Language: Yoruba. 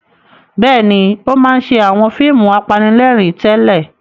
Bẹ́ẹ̀ni, ó máa ń ṣe àwọn fíìmù apanilẹ́rìn-ín tẹ́lẹ̀.